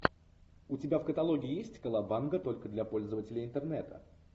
у тебя в каталоге есть колобанга только для пользователей интернета